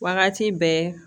Wagati bɛɛ